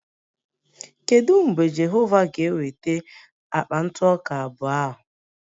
Kedu mgbe Jehova ga-eweta akpa ntụ ọka abụọ ahụ?